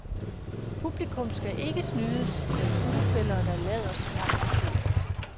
Publikum skal ikke snydes med skuespillere, der lader som om de føler.